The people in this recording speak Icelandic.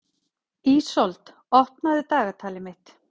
Ísold, opnaðu dagatalið mitt.